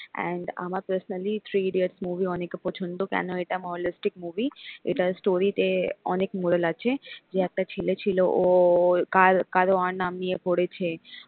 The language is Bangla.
and আমার personally থ্রি ইডিয়টস movie অনেক পছন্দ কেন এটা holistic movie এটা story তে অনেক moral আছে যে একটা ছেলে ছিল ওর কার কার ও নাম নিয়ে পড়েছে।